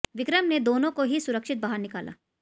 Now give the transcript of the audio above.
विक्रम ने दोनों को ही सुरक्षित बाहर निकाला